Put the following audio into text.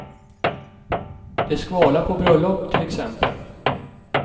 Det skvalar på bröllop, till exempel.